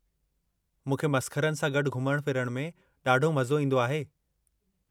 मूंखे मसख़रनि सां गॾु घुमण फिरण में ॾाढो मज़ो ईंदो आहे।